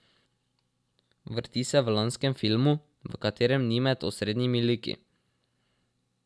Vrti se v lanskem filmu, v katerem ni med osrednjimi liki.